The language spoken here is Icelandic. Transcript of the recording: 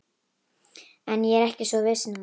En ég er ekki svo viss núna